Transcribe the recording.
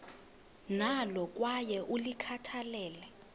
nalo kwaye ulikhathalele